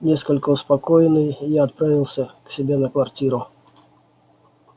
несколько успокоенный я отправился к себе на квартиру